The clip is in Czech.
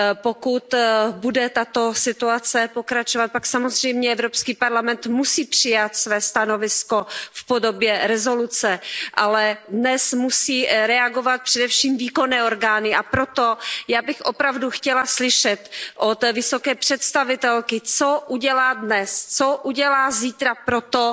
Pokud bude tato situace pokračovat, pak samozřejmě EP musí přijmout své stanovisko v podobě rezoluce, ale dnes musí reagovat především výkonné orgány, a proto Já bych opravdu chtěla slyšet od vysoké představitelky, co udělá dnes, co udělá zítra pro to,